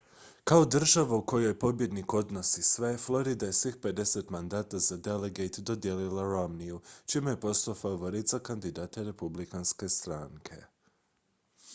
kao država u kojoj pobjednik odnosi sve florida je svih pedeset mandata za delegate dodijelila romneyu čime je postao favorit za kandidata republikanske stranke